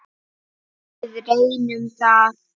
Við reynum það.